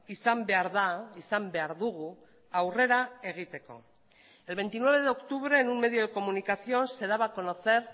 izan behar da izan behar dugu aurrera egiteko el veintinueve de octubre en un medio de comunicación se daba a conocer